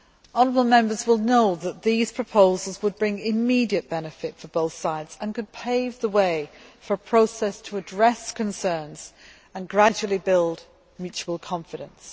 Honourable Members will know that these proposals would bring immediate benefit for both sides and could pave the way for a process to address concerns and gradually build mutual confidence.